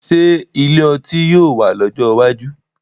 Ṣé ilé ọtí yóò wà lọ́jọ́ iwájú?